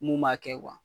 Mun b'a kɛ